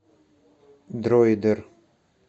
дроидер